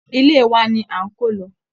Ilé wa ni s` ń kọ́ lọ́wọ́